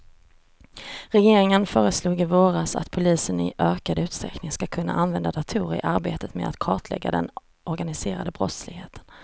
Regeringen föreslog i våras att polisen i ökad utsträckning ska kunna använda datorer i arbetet med att kartlägga den organiserade brottsligheten.